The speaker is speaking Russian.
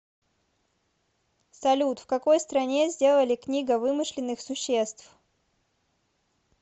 салют в какой стране сделали книга вымышленных существ